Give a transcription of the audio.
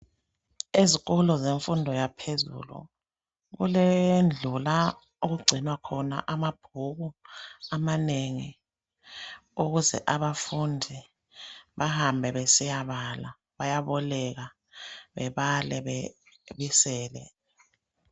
Ezikolo zemfundo yaphezulu kulendlu la okugcinwa khona amabhuku amanengi ukuze abafundi bahambe besiyabala. Bayaboleka bebale bebisele.